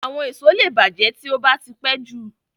Àwọn èso lẹ bàjẹ́ tí ó bá tí pẹ́jù